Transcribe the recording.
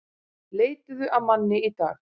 Leituðu að manni í dag